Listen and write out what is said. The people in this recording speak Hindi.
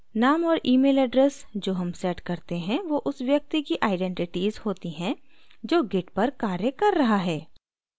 name और email address जो हम set करते हैं who उस व्यक्ति की आईडेंटिटीज़ होती हैं जो git पर कार्य कर रहा है